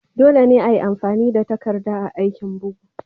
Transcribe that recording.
Dole ne ayi amfani da takarda a aikin bugu.